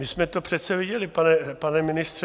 My jsme to přece viděli, pane ministře.